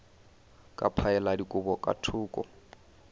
ka phaela dikobo ka thoko